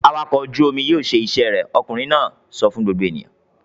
"Awakọ̀ ojú-omi yóò ṣe iṣẹ́ rẹ̀!" Ọkùnrin náà sọ fún gbogbo ènìyàn.